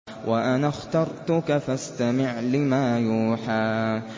وَأَنَا اخْتَرْتُكَ فَاسْتَمِعْ لِمَا يُوحَىٰ